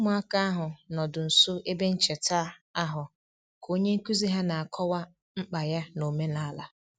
Ụmụaka ahụ nọdụ nso ebe ncheta ahụ ka onye nkuzi ha na-akọwa mkpa ya n'omenala